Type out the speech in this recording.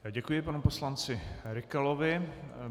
Děkuji panu poslanci Rykalovi.